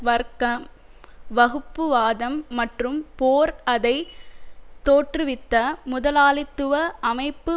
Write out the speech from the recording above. வர்க்கம் வகுப்புவாதம் மற்றும் போர் அதை தோற்றுவித்த முதலாளித்துவ அமைப்பு